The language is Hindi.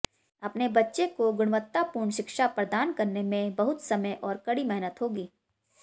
अपने बच्चे को गुणवत्तापूर्ण शिक्षा प्रदान करने में बहुत समय और कड़ी मेहनत होगी